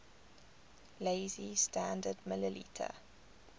lazy standard ml